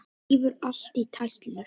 Rífur allt í tætlur.